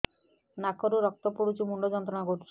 ନାକ ରୁ ରକ୍ତ ପଡ଼ୁଛି ମୁଣ୍ଡ ଯନ୍ତ୍ରଣା କରୁଛି